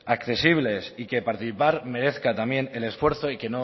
accesibles y que participar merezca también el esfuerzo y